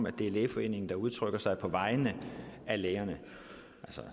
at det er lægeforeningen der udtrykker sig på vegne af lægerne